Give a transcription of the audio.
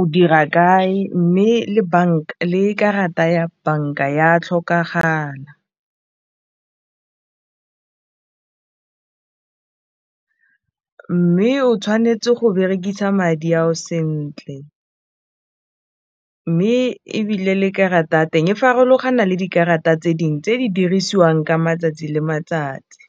o dira kae mme le banka le karata ya banka ya tlhokagala, mme o tshwanetse go berekisa madi ao sentle mme ebile le karata ya teng e farologana le dikarata tse dingwe tse di dirisiwang ka matsatsi le matsatsi.